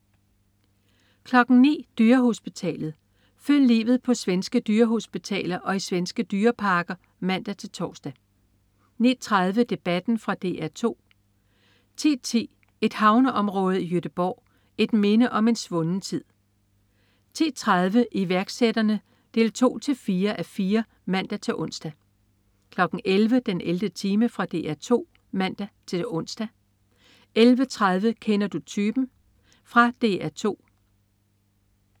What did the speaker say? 09.00 Dyrehospitalet. Følg livet på svenske dyrehospitaler og i svenske dyreparker (man-tors) 09.30 Debatten. Fra DR 2 10.10 Et havneområde i Göteborg. Et minde om en svunden tid 10.30 Iværksætterne 2-4:4 (man-ons) 11.00 den 11. time. Fra DR 2 (man-ons) 11.30 Kender du typen? typen? Fra DR 2